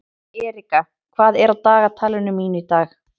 Erika, hvað er á dagatalinu mínu í dag?